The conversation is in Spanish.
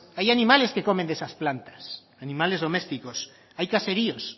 hay animales que comen de esas plantas animales domésticos hay caseríos